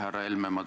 Härra Helme!